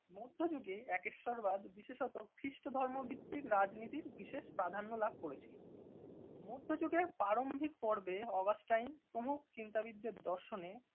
মধ্যযুগে একেশ্বরবাদ বিশেষত খ্রিস্ট ধর্মভিত্তিক রাজনীতির বিশেষ প্রাধান্য লাভ করেছিল। মধ্যযুগের প্রারম্ভিক পর্বে অগাস্টাইন প্রমুখ চিন্তাবিদদের দর্শনে